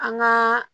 An ŋaa